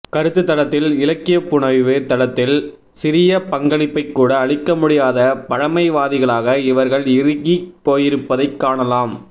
கருத்துத்தளத்தில் இலக்கியப்புனைவுத்தளத்தில் சிறிய பங்களிப்பைக்கூட அளிக்கமுடியாத பழமைவாதிகளக இவர்கள் இறுகிப்போயிருப்பதைக் காணலாம்